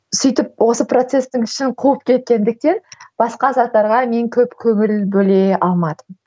сөйтіп осы процестің ішін қуып кеткендіктен басқа заттарға мен көп көңіл бөле алмадым